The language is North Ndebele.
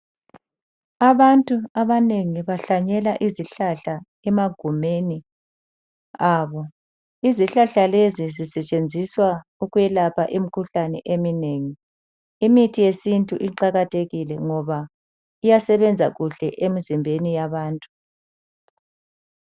Abantu abanengi bahlanyela izihlahla emagumeni abo. Izihlahla lezi zisetshenziswa ukwelapha imikhuhlane eminengi. Imithi yesintu iqakathekile ngoba iyasebenza kuhle emizimbeni yabantu.